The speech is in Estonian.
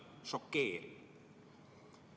“ Šokeeriv.